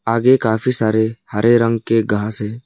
आगे काफी सारे हरे रंग के घास हैं।